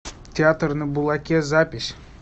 театр на булаке запись